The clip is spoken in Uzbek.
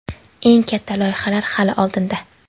eng katta loyihalar hali oldinda.